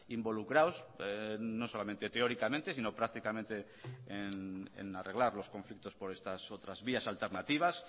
involucrados no solamente teóricamente sino prácticamente en arreglar los conflictos por estas otras vías alternativas